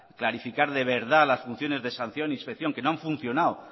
clarificar de verdad las funciones de sanción que no han funcionado